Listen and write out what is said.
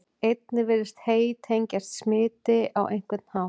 Einnig virðist hey tengjast smiti á einhvern hátt.